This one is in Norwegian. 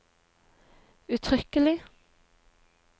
uttrykkelig